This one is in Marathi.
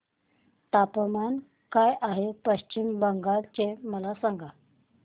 तापमान काय आहे पश्चिम बंगाल चे मला सांगा